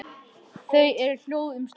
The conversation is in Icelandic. Þau eru hljóð um stund.